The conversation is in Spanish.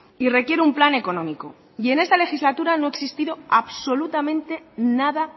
y requiere un plan económico y en esta legislatura no ha existido absolutamente nada